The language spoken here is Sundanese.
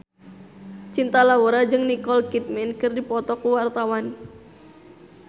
Cinta Laura jeung Nicole Kidman keur dipoto ku wartawan